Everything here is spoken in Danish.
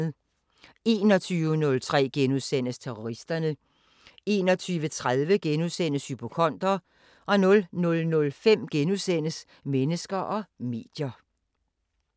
21:03: Terroristerne * 21:30: Hypokonder * 00:05: Mennesker og medier *